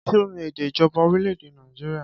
Kí ni èdè ìjọba orílẹ̀ èdè Nàìjíríà?